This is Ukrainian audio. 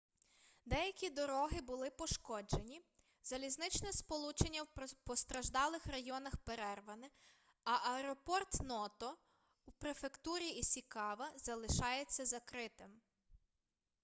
деякі дороги були пошкоджені залізничне сполучення у постраждалих районах перерване а аеропорт ното у префектурі ісікава залишається закритим